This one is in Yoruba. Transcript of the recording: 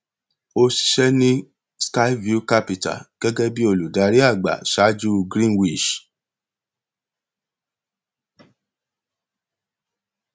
ó ṣiṣẹ ní skyview capital gẹgẹ bí olùdarí àgbà ṣáájú greenwich